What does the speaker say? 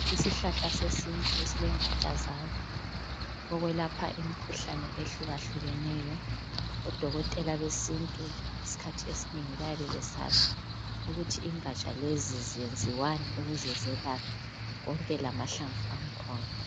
Ishlahla sesintu esilengatsha zaso. Selapha imikhuhlane etshiyeneyo. Odokotela besintu bayabe besazi ukuthi ingatsha lezi zenziwani ukuze zelaphe konke lamahlamvu aso